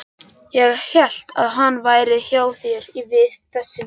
Ég hélt að hann væri hjá þér þessi vinur þinn.